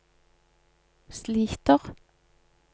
sliter